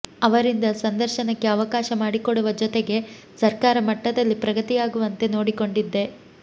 ಅವರಿಂದ ಸಂದರ್ಶನಕ್ಕೆ ಅವಕಾಶ ಮಾಡಿಕೊಡುವ ಜೊತೆಗೆ ಸರ್ಕಾರ ಮಟ್ಟದಲ್ಲಿ ಪ್ರಗತಿಯಾಗುವಂತೆ ನೋಡಿಕೊಂಡಿದ್ದೆ